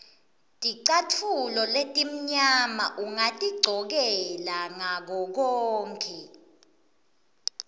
ticatfulo letimnyama ungatigcokela ngakokonkhe